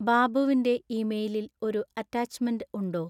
ബാബുവിൻ്റെ ഇമെയിലിൽ ഒരു അറ്റാച്ച്മെന്റ് ഉണ്ടോ